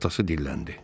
Atası dilləndi.